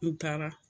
N taara